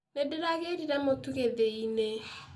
Nĩndĩragĩrire mũtũ gĩthĩi-inĩ.